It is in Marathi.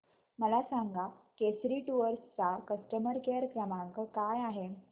मला सांगा केसरी टूअर्स चा कस्टमर केअर क्रमांक काय आहे